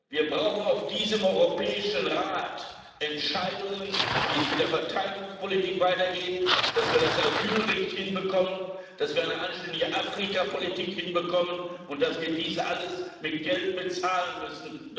Wir brauchen auf diesem Europäischen Rat Entscheidungen, wie es mit der Verteilungspolitik weitergeht, wie wir das Asylrecht hinbekommen, wie wir eine anständige Afrikapolitik hinbekommen und dass wir dies alles mit Geld bezahlen müssen